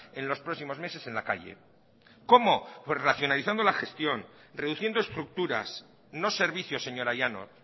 en los próximos meses en la calle cómo pues racionalizando la gestión reduciendo estructuras no servicios señora llanos